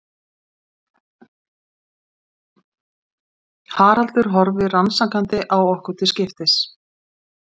Haraldur horfir rannsakandi á okkur til skiptis.